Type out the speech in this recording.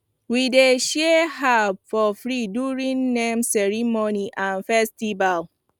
we dey share herbs for free during name ceremony and festival